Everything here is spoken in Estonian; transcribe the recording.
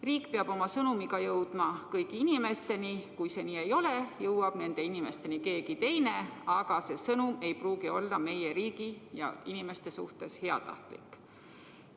Riik peab oma sõnumiga jõudma kõigi inimesteni, ja kui see nii ei ole, siis jõuab nende inimesteni keegi teine, aga see sõnum ei pruugi olla meie riigi ja meie inimeste suhtes heatahtlik.